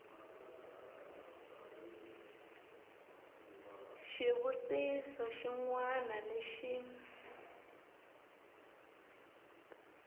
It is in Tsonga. xivutiso xin wana ni xin